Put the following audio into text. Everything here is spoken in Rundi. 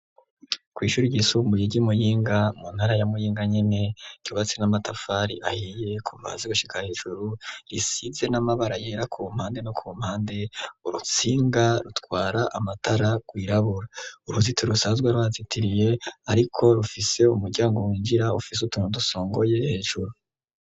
Kw'ishuri igisumburi ry'imuyinga mu ntara ya muyinga nyene ryobatsi n'amatafari ahiye ku mazi gushika hejuru risize n'amabara yera ku mpande no ku mpande urutsinga rutwara amatara rwirabura uruziti rusazwa rwazitiriye, ariko rufise umuryango winjira ufise utuntu dusongoye hejuru.